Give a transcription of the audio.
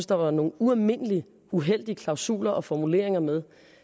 der var nogle ualmindelig uheldige klausuler og formuleringer med